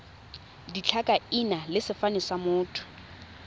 ditlhakaina le sefane sa motho